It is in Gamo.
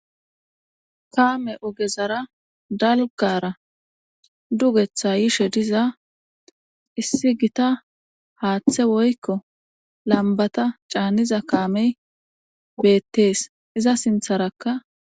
kaame ogezara dalgara dugetha yishe diza issi gita haaththe woykko lambata caaniza kaamey beettees iza sintharakka